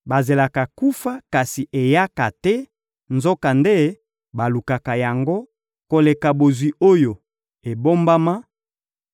Bazelaka kufa, kasi eyaka te; nzokande balukaka yango koleka bozwi oyo ebombama,